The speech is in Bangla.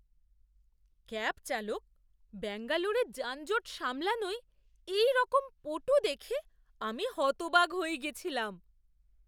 ক্যাব চালক ব্যাঙ্গালোরে যানজট সামলানোয় এইরকম পটু দেখে আমি হতবাক হয়ে গেছিলাম!